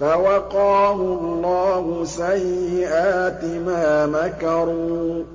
فَوَقَاهُ اللَّهُ سَيِّئَاتِ مَا مَكَرُوا ۖ